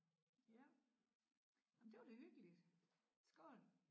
Ja ej men det var da hyggeligt skål